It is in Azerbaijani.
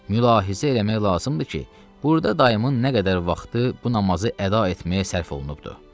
Mülahizə eləmək lazımdır ki, burda dayımın nə qədər vaxtı bu namazı əda etməyə sərf olunubdur.